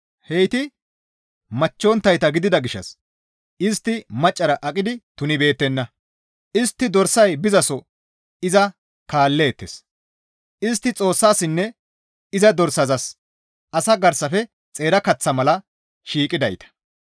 Heyti machchonttayta gidida gishshas istti maccara aqidi tunbeettenna; istti dorsay bizaso iza kaalleettes; istti Xoossassinne iza dorsazas asaa garsafe xeera kaththa mala shiiqidayta.